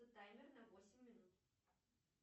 таймер на восемь минут